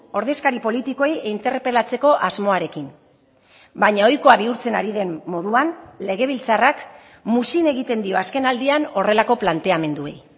ordezkari politikoei interpelatzeko asmoarekin baina ohikoa bihurtzen ari den moduan legebiltzarrak muzin egiten dio azkenaldian horrelako planteamenduei